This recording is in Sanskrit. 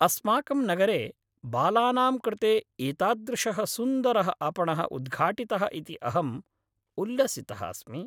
अस्माकं नगरे बालानां कृते एतादृशः सुन्दरः आपणः उद्घाटितः इति अहम् उल्लसितः अस्मि।